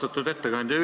Austatud ettekandja!